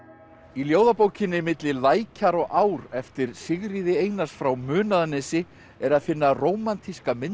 í ljóðabókinni milli lækjar og ár eftir Sigríði Einars frá Munaðarnesi er að finna rómantíska mynd